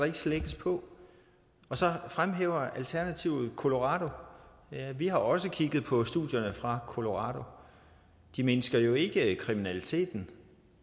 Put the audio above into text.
ikke slækkes på og så fremhæver alternativet colorado ja vi har også kigget på studierne fra colorado det mindsker jo ikke kriminaliteten